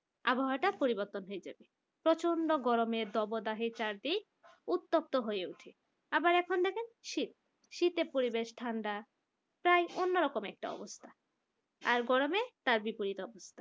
আবহাওয়াটা পরিবর্তন হয়ে যাবে প্রচন্ড গরমে তপোদাহী চারদিক উত্তপ্ত হয়ে ওঠে আবার এখন দেখেন শীত শীতের পরিবেশ ঠান্ডা প্রায় অন্য রকম একটা অবস্থা আর গরমে তার বিপরীত অবস্থা